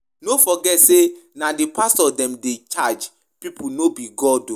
No forget say na the pastors dem dey charge people no be God oo